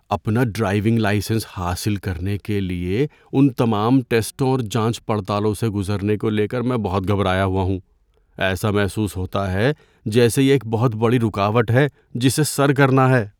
اپنا driving licence حاصل کرنے کے لیے ان تمام ٹیسٹوں اور جانچ پڑتالوں سے گزرنے کو لے کر میں بہت گھبرایا ہوا ہوں۔ ایسا محسوس ہوتا ہے جیسے یہ ایک بہت بڑی رکاوٹ ہے جسے سر کرنا ہے۔